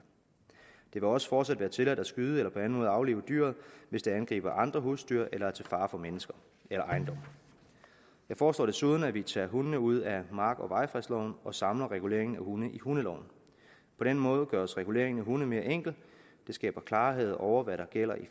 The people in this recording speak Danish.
vil også fortsat være tilladt at skyde eller på anden måde aflive dyret hvis det angriber andre husdyr eller er til fare for mennesker eller ejendom jeg foreslår desuden at vi tager hundene ud af mark og vejfredsloven og samler reguleringen af hunde i hundeloven på den måde gøres regulering af hunde mere enkel det skaber klarhed over hvad der gælder i